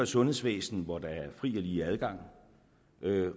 sundhedsvæsen hvor der er fri og lige adgang